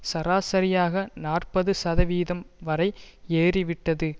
சராசரியாக நாற்பது சதவீதம் வரை ஏறி விட்டது